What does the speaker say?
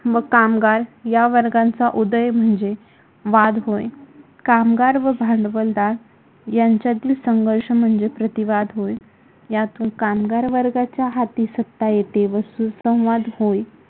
व कामगार या वर्गांचा उदय म्हणजे वाद होय. कामगार व भांडवलदार यांच्यातील संघर्ष म्हणजे प्रतिवाद होय. यातून कामगार वर्गाच्या हाती सत्ता येते व सुसंवाद होईल.